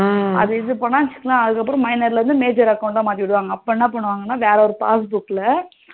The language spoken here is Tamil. அது இது என்ன பண்ண வச்சிகோயே minor ல இருந்து major account டா மாத்திடுவாங்க அப்போ என்ன பண்ணுவாங்கனா வேற ஒரு passbook ல